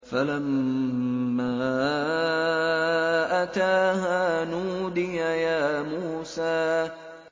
فَلَمَّا أَتَاهَا نُودِيَ يَا مُوسَىٰ